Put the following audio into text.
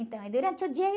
Então, aí durante o dia